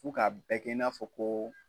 Fo ka bɛɛ kɛ i n'a fɔ ko.